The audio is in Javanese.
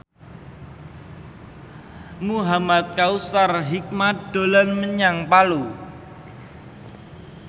Muhamad Kautsar Hikmat dolan menyang Palu